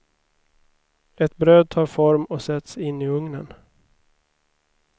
Ett bröd tar form och sätts in i ugnen.